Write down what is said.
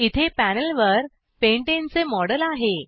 इथे पॅनेल वर pentaneपॅन्टेन चे मॉडेल आहे